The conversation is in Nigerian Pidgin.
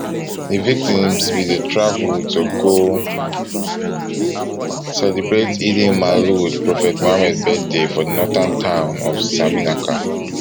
di victims bin dey travel to go celebrate eidelmaulud prophet muhammad birthday for di northern town of saminaka